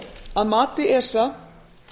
að mati esa